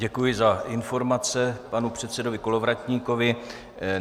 Děkuji za informace panu předsedovi Kolovratníkovi.